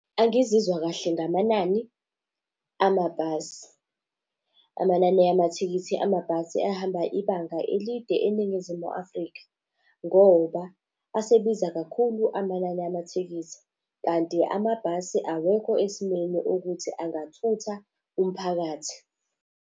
Angizizwa kahle ngamanani amabhasi. Amanani amathikithi amabhasi ahamba ibanga elide eNingizimu Afrika. Ngoba asebiza kakhulu amanani amathikithi kanti amabhasi awekho esimeni ukuthi angathutha umphakathi.